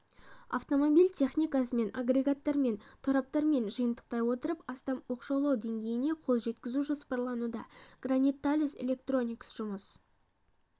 автомобиль техникасымен агрегаттармен тораптармен жиынтықтай отырып астам оқшаулау деңгейіне қол жеткізу жоспарлануда гранит-талес электроникс жұмыс